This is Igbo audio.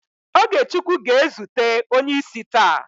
OgeChukwu ga-ezute onye isi taa